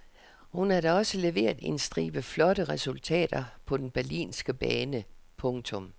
Hun har da også leveret en stribe flotte resultater på den berlinske bane. punktum